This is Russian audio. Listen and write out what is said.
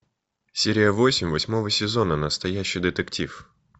серия восемь восьмого сезона настоящий детектив